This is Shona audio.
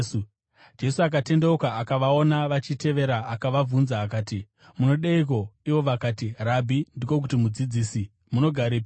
Jesu akatendeuka akavaona vachitevera akavabvunza akati, “Munodeiko?” Ivo vakati, “ ‘Rabhi’ (ndiko kuti Mudzidzisi), munogarepiko?”